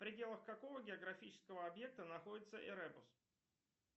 в пределах какого географического объекта находится эребус